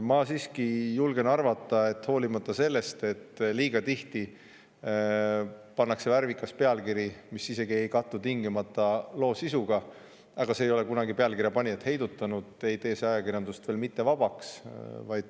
Ma siiski julgen arvata, et hoolimata sellest, et liiga tihti pannakse värvikas pealkiri, mis isegi ei kattu tingimata loo sisuga – see ei ole kunagi pealkirja panijat heidutanud –, ei tee see ajakirjandust veel mittevabaks.